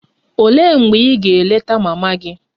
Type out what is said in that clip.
Olee mgbe ị ga-eleta mama gị?